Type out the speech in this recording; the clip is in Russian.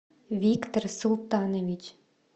виктор султанович